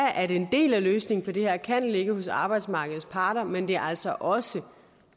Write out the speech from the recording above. at en del af løsningen på det her kan ligge hos arbejdsmarkedets parter men det er altså også